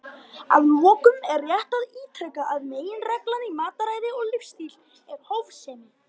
Að lokum er rétt að ítreka að meginreglan í mataræði og lífsstíl er hófsemi.